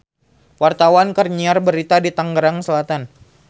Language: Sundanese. Wartawan keur nyiar berita di Tangerang Selatan